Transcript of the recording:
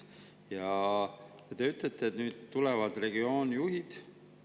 Ja te ütlete, et nüüd tulevad regioonijuhid.